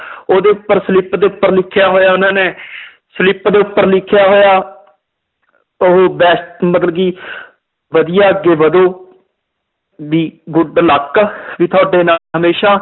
ਉਹਦੇ ਉੱਪਰ slip ਦੇ ਉੱਪਰ ਲਿਖਿਆ ਹੋਇਆ ਉਹਨਾਂ ਨੇ slip ਦੇ ਉੱਪਰ ਲਿਖਿਆ ਹੋਇਆ ਉਹ all the best ਮਤਲਬ ਕਿ ਵਧੀਆ ਅੱਗੇ ਵਧੋ ਵੀ good luck ਵੀ ਤੁਹਾਡੇ ਨਾਲ ਹਮੇਸ਼ਾ